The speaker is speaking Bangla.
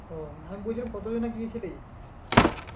ও না বলছিলাম কতজনা গিয়েছিলি?